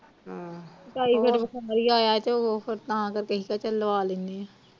ਚਾਈ ਫਿਰ ਆਇਆ ਹੀ ਤੇ ਉਹ ਫਿਰ ਤਾ ਕਰਕੇ ਅਹੀ ਕਿਹਾ ਚਲ ਲਵਾ ਲੈਣੇ ਆ